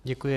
Děkuji.